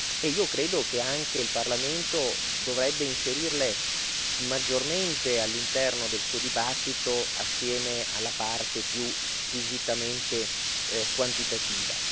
E credo che anche il Parlamento dovrebbe inserirle maggiormente all'interno del suo dibattito, assieme alla parte più squisitamente quantitativa.